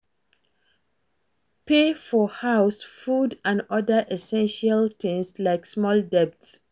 Pay for house, food and oda essestial things like small debts